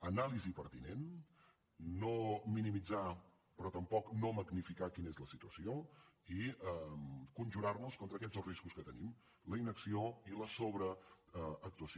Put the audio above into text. anàlisi pertinent no minimitzar però tampoc no magnificar quina és la situació i conjurar nos contra aquests dos riscos que tenim la inacció i la sobreactuació